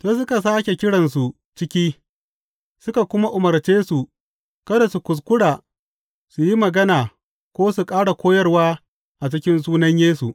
Sai suka sāke kiransu ciki suka kuma umarce su kada su kuskura su yi magana ko su ƙara koyarwa a cikin sunan Yesu.